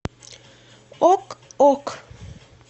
ок ок